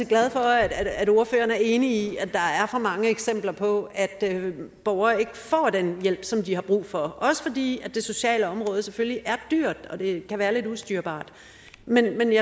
glad for at ordføreren er enig i at der er for mange eksempler på at borgere ikke får den hjælp som de har brug for også fordi det sociale område selvfølgelig er dyrt og kan være lidt ustyrligt men